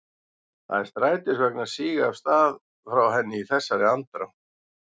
Það var strætisvagn að síga af stað frá henni í þessari andrá.